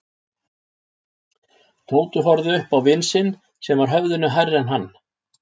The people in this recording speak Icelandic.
Tóti horfði upp á vin sinn sem var höfðinu hærri en hann.